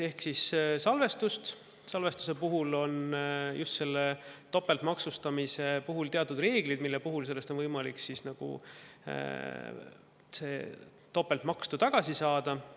Ehk salvestuse puhul on just teatud topeltmaksustamise reeglid, mis annavad võimaluse topelt makstu tagasi saada.